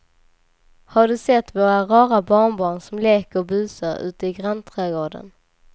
Har du sett våra rara barnbarn som leker och busar ute i grannträdgården!